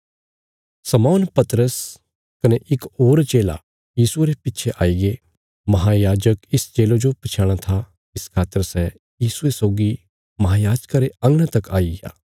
शमौन पतरस कने इक होर चेला यीशुये रे पिच्छे आईगे महायाजक इस चेले जो पछयाणां था इस खातर सै यीशुये सौगी महायाजका रे अंगणा तक आईग्या